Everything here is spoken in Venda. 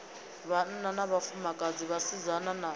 vhanna na vhafumakadzi vhasidzana na